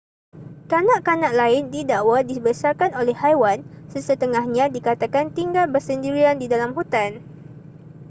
kanak-kanak lain didakwa dibesarkan oleh haiwan sesetengahnya dikatakan tinggal bersendirian di dalam hutan